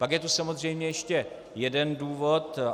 Pak je tu samozřejmě ještě jeden důvod.